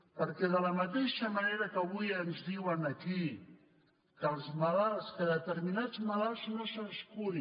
perquè de la mateixa manera que avui ens diuen aquí que a determinats malalts no se’ls curi